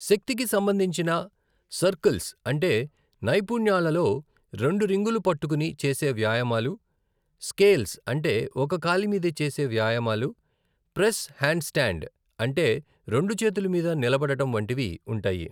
శక్తికి సంబంధించిన సర్కిల్స్ అంటే నైపుణ్యాలలో రెండు రింగులు పట్టుకుని చేసే వ్యాయామాలు, స్కేల్స్ అంటే ఒక కాలి మీద చేసే వ్యాయామాలు, ప్రెస్ హాండ్స్టాండ్ అంటే రెండు చేతుల మీద నిలబడడం వంటివి ఉంటాయి.